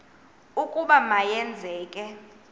ukuba ma yenzeke